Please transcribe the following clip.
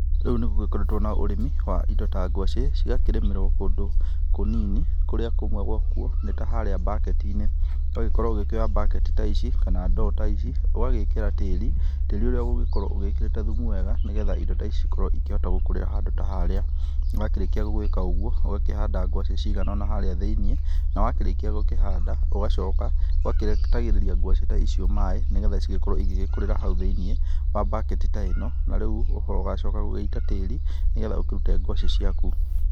Rĩu nĩgũkoretwo na ũrĩmi wa indo ta ngwacĩ cigakĩrĩmĩrwo kũndũ kũnini kũrĩa kũmwe gwakuo nĩ ta harĩa baketinĩ. Ũgagĩkorwo ũkĩoya baketi ta ici kana ndoo ta ici ũgagĩkĩra tĩri, tĩri ũrĩa ũgũkorwo wĩkĩrĩte thumu wega nĩgetha indo ta ici cikorwo cikĩhota gũkũrĩra handũ ta harĩa. Wakĩrĩkia gwĩka ũguo ũgakĩhanda ngwacĩ cikĩigana ũna harĩa thĩinĩ na wakĩrĩkia gũkĩhanda ũgagĩitagĩrĩria ngwacĩ ta icio maaĩ nĩgetha cigĩkorwo cigĩkurĩra hau thĩinĩ wa backeti ta ĩno na rĩu ũgacoka gũita tĩri nĩgetha ũgĩkĩruta ngwacĩ ciaku.